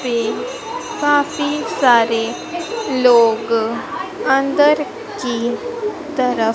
काफी सारे लोग अंदर की तरफ--